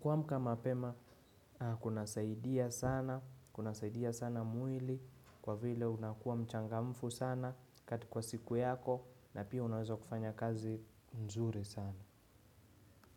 Kumka mapema, kunasaidia sana, kuna saidia sana mwili, kwa vile unakua mchangamfu sana kwa siku yako na pia unaweza kufanya kazi nzuri sana.